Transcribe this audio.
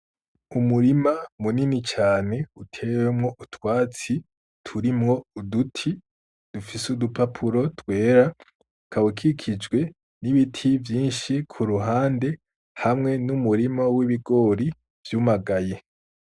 Umurima munini cane utewemwo utwatsi turimwo uduti dufise udupapuro twera ukaba ukikijwe n'ibiti vyinshi ku ruhande hamwe n'umurima w'ibigori vyumagaye.